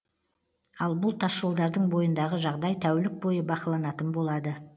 ал бұл тасжолдардың бойындағы жағдай тәулік бойы бақыланатын болады